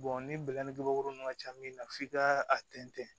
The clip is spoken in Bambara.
ni nunnu ma ca min na f'i ka a tɛntɛn